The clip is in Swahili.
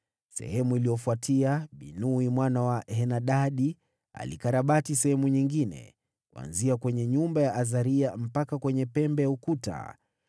Baada yake, Binui mwana wa Henadadi alikarabati sehemu nyingine, kuanzia kwenye nyumba ya Azaria mpaka kwenye pembe ya ukuta.